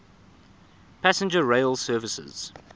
passenger rail services